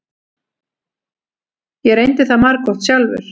Ég reyndi það margoft sjálfur.